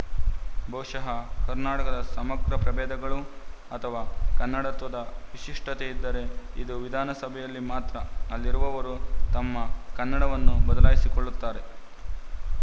ಬಹುಶಃ ಕರ್ನಾಟಕದ ಸಮಗ್ರ ಪ್ರಭೇದಗಳು ಅಥವಾ ಕನ್ನಡತ್ವದ ವಿಶಿಷ್ಟತೆ ಇದ್ದರೆ ಇದು ವಿಧಾನಸಭೆಯಲ್ಲಿ ಮಾತ್ರ ಅಲ್ಲಿರುವವರು ತಮ್ಮ ಕನ್ನಡವನ್ನು ಬದಲಾಯಿಸಿಕೊಳ್ಳುತ್ತಾರೆ